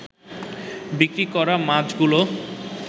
বিক্রি করা মাছগুলো